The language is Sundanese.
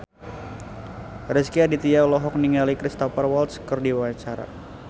Rezky Aditya olohok ningali Cristhoper Waltz keur diwawancara